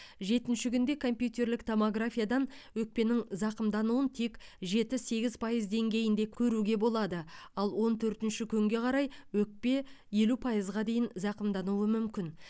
жетінші күнде компьютерлік томографиядан өкпенің зақымдануын тек жеті сегіз пайыз деңгейінде көруге болады ал он төртінші күнге қарай өкпе елу пайызға дейін зақымдануы мүмкін